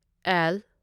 L